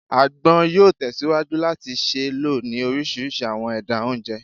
Agbon yoo tesiwaju lati ṣee lo ni orisirisi awọn ẹda onjẹ